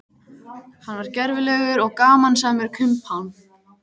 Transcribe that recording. Hann var gervilegur og gamansamur kumpán.